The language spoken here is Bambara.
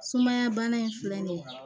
Sumaya bana in filɛ nin ye